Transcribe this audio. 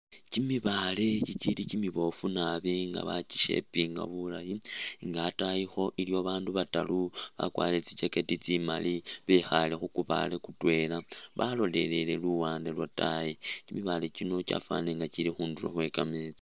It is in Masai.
Kimibaale kikili kimiboofu nga ba ki shapinga bulayi nga atayikho iliwo babandu bataru bakwarire tsi jacker tsimali bekhaale khu kubaale kutwela balolelele luwande lwataayi. Kimibaale kino kyafwanile nga kili khundulo khwe kameetsi